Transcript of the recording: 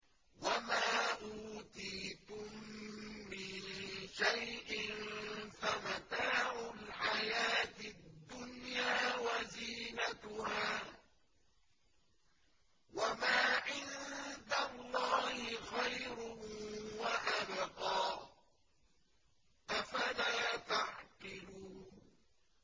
وَمَا أُوتِيتُم مِّن شَيْءٍ فَمَتَاعُ الْحَيَاةِ الدُّنْيَا وَزِينَتُهَا ۚ وَمَا عِندَ اللَّهِ خَيْرٌ وَأَبْقَىٰ ۚ أَفَلَا تَعْقِلُونَ